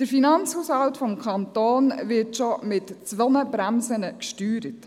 Der Finanzhaushalt des Kantons wird schon mit zwei Bremsen gesteuert.